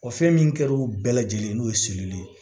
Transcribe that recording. O fɛn min kɛr'u bɛɛ lajɛlen n'o ye